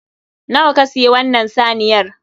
Nawa ka siyi wannan saniyar?